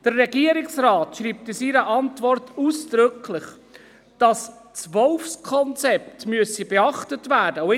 Der Regierungsrat schreibt in seiner Antwort ausdrücklich, dass das Wolfskonzept beachtet werden müsse.